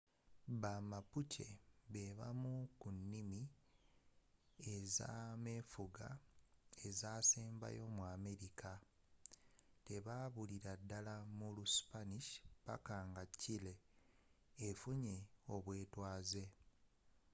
ba mapuche bebamu kunnimi ezamefuga ezaasembayo mu america tebabulila ddala mu lu spanish paka nga chile efunye obwetwaze